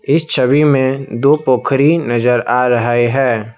इस छवि में दो पोखरी नजर आ रहे हैं।